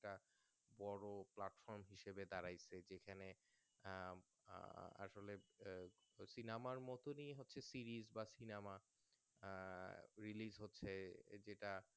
বোরো Platform হিসাবে দাড়াইছে যেখানে আহ আহ আসলে Cinema মতনই হচ্ছে series বা Cinema আহ Release হচ্ছে ওই যেটা